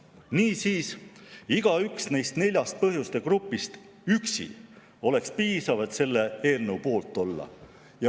Niisiis, igaüks neist neljast põhjuste grupist ka üksi oleks piisav, et selle eelnõu poolt olla.